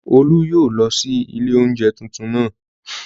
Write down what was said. Olú yóò lọ sí ilé oúnjẹ tuntun naa